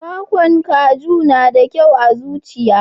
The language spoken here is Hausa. kwakwan kaju na da kyau ga zuciya.